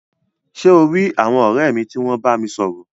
Ṣe o ri àwọn ọrẹ mi ti wọn bámi sọ̀rọ̀?